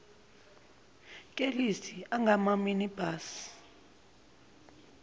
kelisi angama minibus